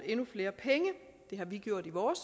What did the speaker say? endnu flere penge det har vi gjort i vores